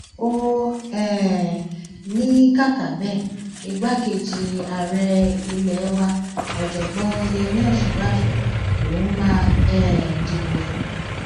ó um ní kàkà bẹẹ igbákejì ààrẹ ilé wa ọjọgbọn yemí òsínbàjò lòún máa um dìbò fún